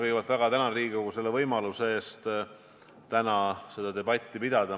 Kõigepealt ma väga tänan Riigikogu selle võimaluse eest täna seda debatti pidada.